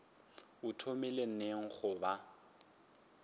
o thomile neng go ba